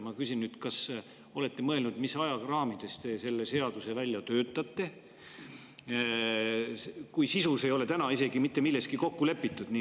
Ma küsin nüüd, kas te olete mõelnud, mis ajaraamides te selle seaduse välja töötate, kui sisus ei ole mitte milleski kokku lepitud.